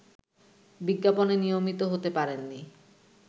বিজ্ঞাপনে নিয়মিত হতে পারেননি